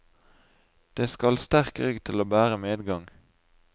Det skal sterk rygg til å bære medgang.